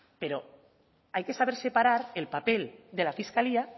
pero hay que saber separar el papel de la fiscalía